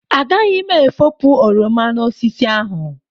Agaghị m efopụ oroma n'osisi ahụ.